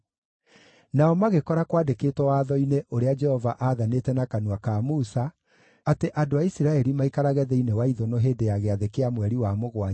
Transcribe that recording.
Nao magĩkora kwandĩkĩtwo watho-inĩ ũrĩa Jehova aathanĩte na kanua ka Musa, atĩ andũ a Isiraeli maikarage thĩinĩ wa ithũnũ hĩndĩ ya gĩathĩ kĩa mweri wa mũgwanja,